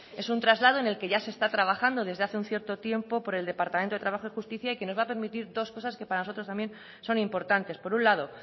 es un traslado en el que ya se está trabajando desde hace cierto tiempo por el departamento de trabajo y justicia y que nos va a permitir dos cosas que para nosotros también son importantes por un lado